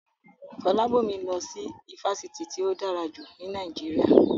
Fọlábọ̀mí lọ sí ifásitì tí ó dára jù ní Nàìjíríà